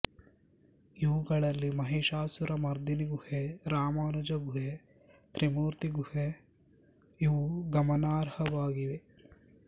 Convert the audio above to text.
ಇವುಗಳಲ್ಲಿ ಮಹಿಷಾಸುರಮರ್ದಿನಿ ಗುಹೆ ರಾಮಾನುಜ ಗುಹೆ ತ್ರಿಮೂರ್ತಿ ಗುಹೆ ಇವು ಗಮನಾರ್ಹವಾಗಿವೆ